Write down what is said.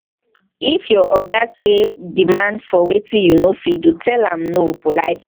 if your oga sey demand for wetin you no fit do tell am no politely